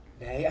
nei